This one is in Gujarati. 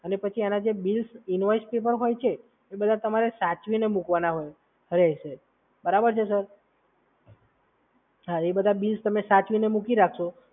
અને પછી એના જે બિલ્સ ઇનવોઇસ જે પણ હોય છે અને એ બધા તમારે સાચવીને મૂકવાના રહેશે. બરાબર છે, સર? હા એ બધા બિલ તમે સાચવીને મૂકી રાખશો.